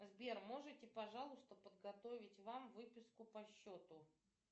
сбер можете пожалуйста подготовить вам выписку по счету